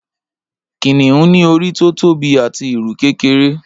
Kìnìún ní orí tó tóbi àti ìrù kékeré